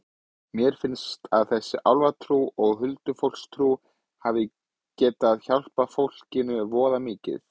Mér finnst að þessi álfatrú og huldufólkstrú hafi getað hjálpað fólkinu voða mikið.